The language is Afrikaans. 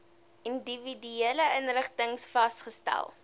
individuele inrigtings vasgestel